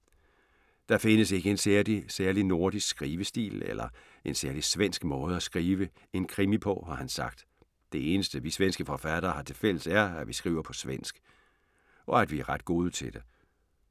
Der findes ikke en særlig nordisk skrivestil eller en særlig svensk måde at skrive en krimi på, har han sagt. Det eneste vi svenske forfattere har til fælles er, at vi skriver på svensk. Og at vi er ret gode til det!